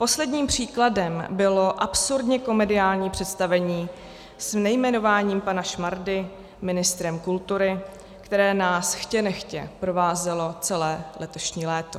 Posledním příkladem bylo absurdně komediální představení s nejmenováním pana Šmardy ministrem kultury, které nás chtě nechtě provázelo celé letošní léto.